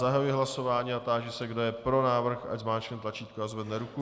Zahajuji hlasování a táži se, kdo je pro návrh, ať zmáčkne tlačítko a zvedne ruku.